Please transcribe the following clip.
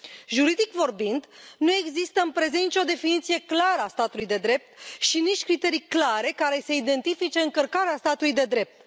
Juridic vorbind, nu există în prezent nicio definiție clară a statului de drept și nici criterii clare care să identifice încălcarea statului de drept.